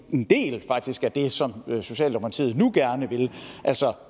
en del faktisk af det som socialdemokratiet nu gerne vil altså